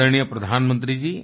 आदरणीय प्रधानमंत्री जी